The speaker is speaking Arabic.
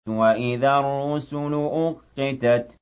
وَإِذَا الرُّسُلُ أُقِّتَتْ